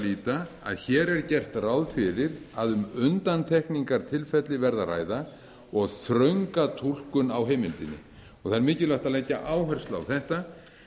líta að hér er gert ráð fyrir að um undantekningartilfelli verði að ræða og þrönga túlkun á heimildinni það er mikilvægt að leggja áherslu á þetta